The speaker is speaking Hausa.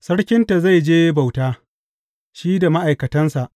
Sarkinta zai je bauta, shi da ma’aikatansa,